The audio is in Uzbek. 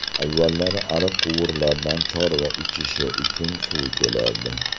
Avvallari ariq-quvurlardan chorva ichishi uchun suv kelardi.